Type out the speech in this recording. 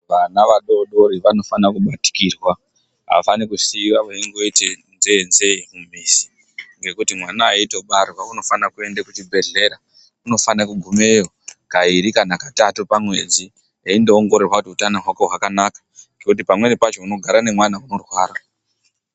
Vana vadoodori vanofana kubatikirwa, havafani kusiya veingoite nzee-nzee mumizi. Ngekuti mwana aitobarwa unofana kuenda kuchibhedhlera. Unofane kugumeyo kairi kana katatu pamwedzi eindoongororwa kuti utano hwake hwakanaka. Ngekuti pamweni pacho unogara nemwana unorwara.